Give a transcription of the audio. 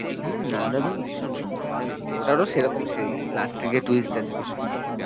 হম দারুন ভীষণ সুন্দর মানে ওটারও সেরকম সেই last এ গিয়ে twist আছে ভীষণ ভালো।